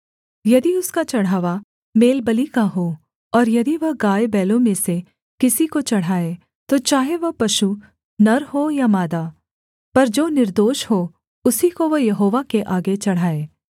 यदि उसका चढ़ावा मेलबलि का हो और यदि वह गायबैलों में से किसी को चढ़ाए तो चाहे वह पशु नर हो या मादा पर जो निर्दोष हो उसी को वह यहोवा के आगे चढ़ाए